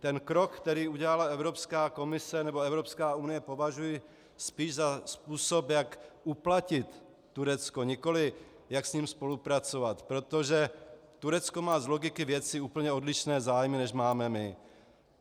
Ten krok, který udělala Evropská komise nebo Evropská unie, považuji spíš za způsob, jak uplatit Turecko, nikoli jak s ním spolupracovat, protože Turecko má z logiky věci úplně odlišné zájmy, než máme my.